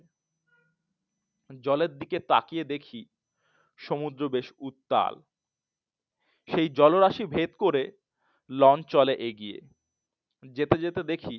জলের দিকে তাকিয়ে দেখি সমুদ্র উত্তাল, সেই জলরাশি ভেদ করে লঞ্চ চলে এগিয়ে যেতে যেতে দেখি